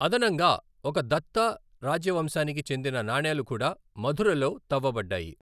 అదనంగా, ఒక దత్తా రాజవంశానికి చెందిన నాణేలు కూడా మధురలో తవ్వబడ్డాయి.